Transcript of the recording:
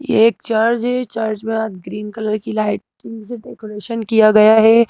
ये एक चर्च है चर्च में आज ग्रीन कलर की लाइट से डेकोरेशन किया गया है।